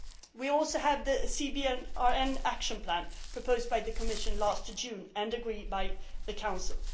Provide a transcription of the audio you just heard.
do so this year. We also have the CBRN action plan proposed by the Commission last June and agreed